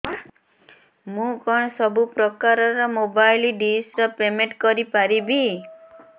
ମୁ କଣ ସବୁ ପ୍ରକାର ର ମୋବାଇଲ୍ ଡିସ୍ ର ପେମେଣ୍ଟ କରି ପାରିବି